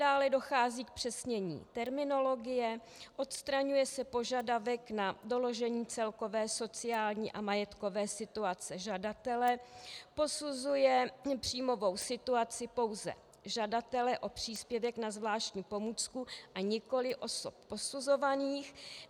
Dále dochází k zpřesnění terminologie, odstraňuje se požadavek na doložení celkové sociální a majetkové situace žadatele, posuzuje příjmovou situaci pouze žadatele o příspěvek na zvláštní pomůcku a nikoliv osob posuzovaných.